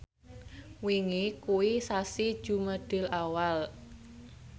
wingi kuwi sasi Jumadilawal